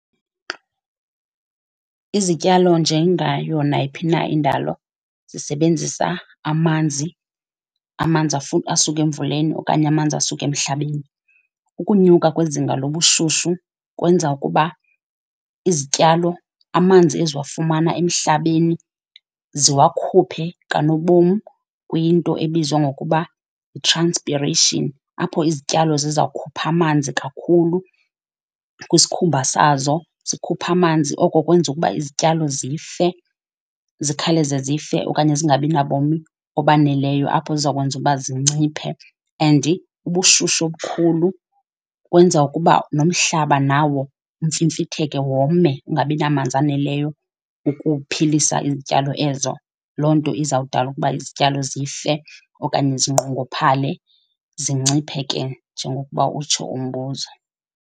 Izityalo njengayo nayiphi na indalo zisebenzisa amanzi, amanzi asuke emvuleni okanye amanzi asuka emhlabeni. Ukunyuka kwezinga lobushushu kwenza ukuba izityalo, amanzi eziwafumana emhlabeni ziwakhuphe kanobom kwinto ebizwa ngokuba yi-transpiration, apho izityalo zizawukhupha amanzi kakhulu kwisikhumba sazo. Sikhupha amanzi oko kwenza ukuba izityalo zife, zikhawuleze zife okanye zingabi nabomi obaneleyo, apho ziza kwenza uba zinciphe. And ubushushu obukhulu kwenza ukuba nomhlaba nawo umfimfitheke wome, ungabi namanzi aneleyo ukuphilisa izityalo ezo. Loo nto izawudala ukuba izityalo zife okanye zinqongophale, zinciphe ke njengokuba utsho umbuzo.